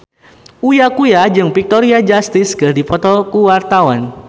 Uya Kuya jeung Victoria Justice keur dipoto ku wartawan